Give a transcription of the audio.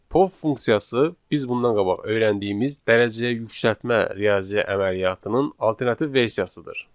Pow funksiyası biz bundan qabaq öyrəndiyimiz dərəcəyə yüksəltmə riyazi əməliyyatının alternativ versiyasıdır.